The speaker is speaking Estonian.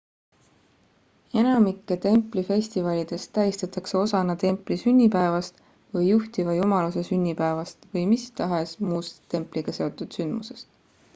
enamikke templi festivalidest tähistatakse osana templi sünnipäevast või juhtiva jumaluse sünnipäevast või mis tahes muust templiga seotud sündmusest